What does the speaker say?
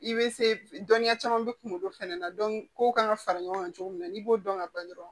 I bɛ se dɔnniya caman bɛ kunkolo fɛnɛ na kow kan ka fara ɲɔgɔn kan cogo min na n'i b'o dɔn ka ban dɔrɔn